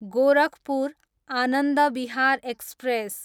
Gorakhpur, Anand Vihar express